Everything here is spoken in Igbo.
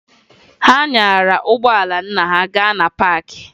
Ha nyara ụgbọala nna ha gaa na paakị